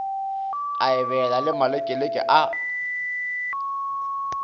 a ebela le malekeleke a